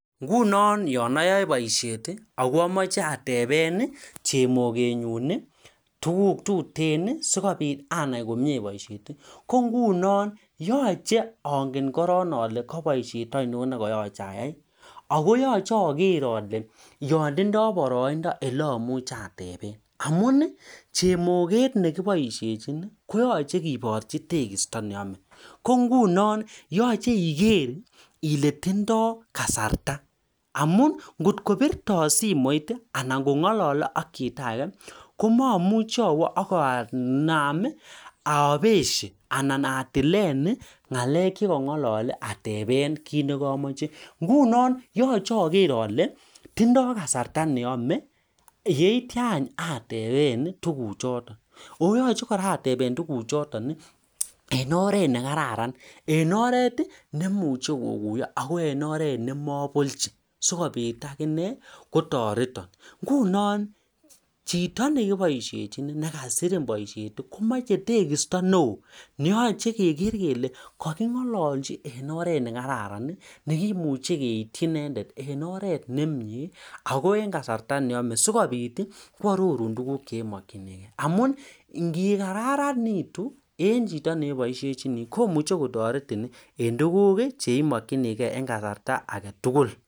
Yachee anai alee kabaishet ngoro atya kotkotindoi baraindoo siatepee chemoget kibarchin tekistoo nemekat